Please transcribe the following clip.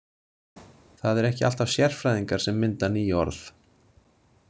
Það eru ekki alltaf sérfræðingar sem mynda ný orð.